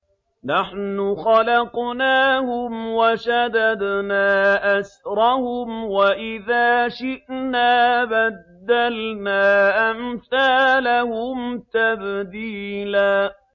نَّحْنُ خَلَقْنَاهُمْ وَشَدَدْنَا أَسْرَهُمْ ۖ وَإِذَا شِئْنَا بَدَّلْنَا أَمْثَالَهُمْ تَبْدِيلًا